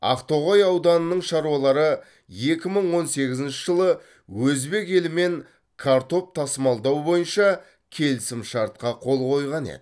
ақтоғай ауданының шаруалары екі мың он сегізінші жылы өзбек елімен картоп тасымалдау бойынша келісімшартқа қол қойған еді